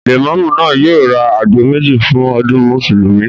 Lẹ̀mọ́mú náà yóò ra àgbò méjì fún ọdún Mùsùlùmí